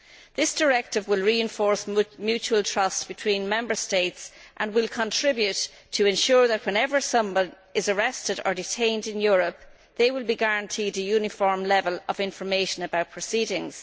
This directive will reinforce mutual trust between Member States and will contribute to ensuring that, whenever someone is arrested or detained in Europe, they will be guaranteed a uniform level of information about proceedings.